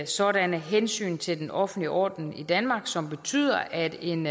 sådanne hensyn til den offentlige orden i danmark som betyder at en